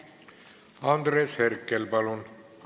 Andres Herkel, palun!